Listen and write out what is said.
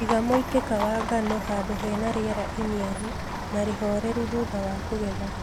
Iga mũitĩka wa ngano handũ hena riera iniaru na rĩhoreru thutha wa kũgetha